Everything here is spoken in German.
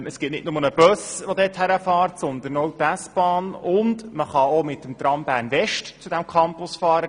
Es gibt nicht nur einen Bus sondern auch die S-Bahn, und man kann auch mit dem Tram Bern-West zu diesem Campus fahren.